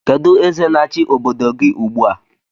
Kedụ eze na-achi obodo gị ugbu a?